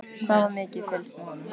Hvað var mikið fylgst með honum?